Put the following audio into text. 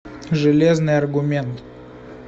железный аргумент